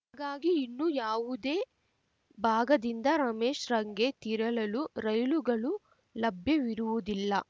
ಹಾಗಾಗಿ ಇನ್ನು ಯಾವುದೇ ಭಾಗದಿಂದ ರಾಮೇಶ್ರಂಗೆ ತಿರಳಲು ರೈಲುಗಳು ಲಭ್ಯವಿರುವುದಿಲ್ಲ